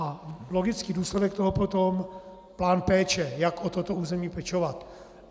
A logický důsledek toho potom plán péče, jak o toto území pečovat.